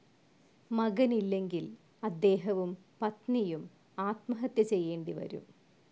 മകനില്ലെങ്കിൽ അദ്ദേഹവും പത്നിയും അത്മഹത്യ ചെയ്യേണ്ടിവരും.